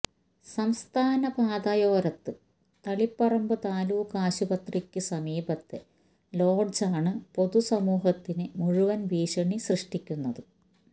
സംസ്ഥാനപാതയോരത്ത് തളിപ്പറമ്പ് താലൂക്ക് ആശുപത്രിക്ക് സമീപത്തെ ലോഡ്ജാണ് പൊതുസമൂഹത്തിന് മുഴുവന് ഭീഷണി സൃഷ്ടിക്കുന്നത്